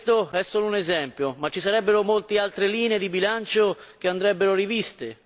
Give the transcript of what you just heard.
Si tratta solo di un esempio, ma ci sarebbero molte altre linee di bilancio che andrebbero riviste.